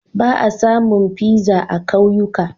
Ba a samun pizza a kauyuka.